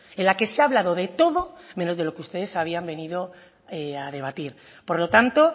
en la que se ha hablado de todo menos de lo que ustedes habían venido a debatir por lo tanto